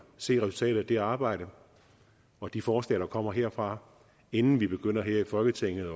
se resultatet af det arbejde og de forslag der kommer herfra inden vi begynder her i folketinget